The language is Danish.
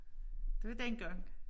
Det var dengang